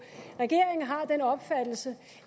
regeringen har den opfattelse